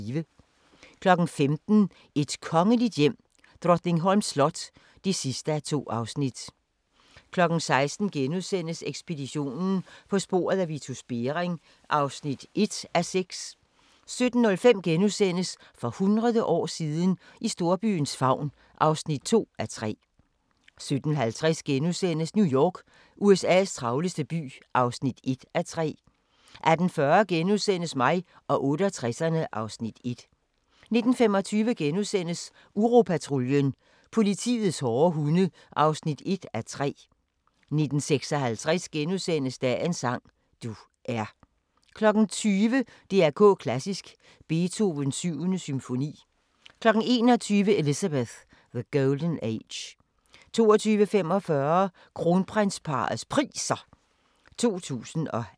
15:00: Et kongeligt hjem: Drottningholms slot (2:2) 16:00: Ekspeditionen - på sporet af Vitus Bering (1:6)* 17:05: For hundrede år siden – I storbyens favn (2:3)* 17:50: New York - USA's travleste by (1:3)* 18:40: Mig og 68'erne (Afs. 1)* 19:25: Uropatruljen – politiets hårde hunde (1:3)* 19:56: Dagens sang: Du er * 20:00: DR K Klassisk: Beethovens 7. symfoni 21:00: Elizabeth: The Golden Age 22:45: Kronprinsparrets Priser 2018